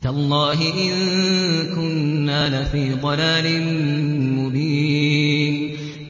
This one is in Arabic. تَاللَّهِ إِن كُنَّا لَفِي ضَلَالٍ مُّبِينٍ